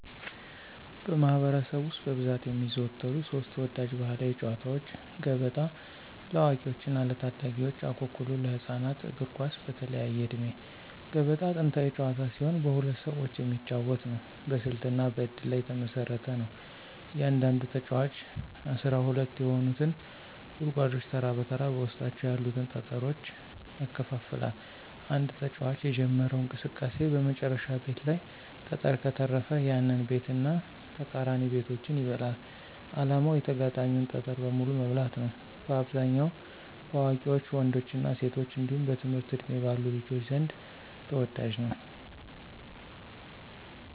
በማኅበረሰብ ውስጥ በብዛት የሚዘወተሩ ሦስት ተወዳጅ ባሕላዊ ጨዋታዎች፦ ገበጣ (ለአዋቂዎችና ለታዳጊዎች) ፣አኩኩሉ (ለህፃናት)፣ እግር ኳስ (በተለያየ ዕድሜ)። ገበጣ ጥንታዊ ጨዋታ ሲሆን በሁለት ሰዎች የሚጫወት ነው። በስልትና በእድል ላይ የተመሰረተ ነው። እያንዳንዱ ተጫዋች 12 የሆኑትን ጉድጓዶች ተራ በተራ በውስጣቸው ያሉትን ጠጠሮች ያከፋፍላል። አንድ ተጫዋች የጀመረው እንቅስቃሴ በመጨረሻው ቤት ላይ ጠጠር ከተረፈ፣ ያንን ቤትና ተቃራኒ ቤቶችን ይበላል። ዓላማው የተጋጣሚን ጠጠር በሙሉ መብላት ነው። በአብዛኛው በአዋቂ ወንዶችና ሴቶች እንዲሁም በትምህርት ዕድሜ ባሉ ልጆች ዘንድ ተወዳጅ ነው።